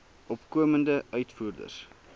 opkomende uitvoerders